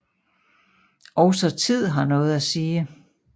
Også tid har noget at sige